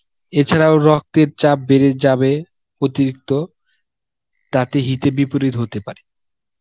এছাড়াও রক্তের চাপ বেড়ে যাবে অতিরিক্ত, তাতে হিতে বিপরীত হতে পারে.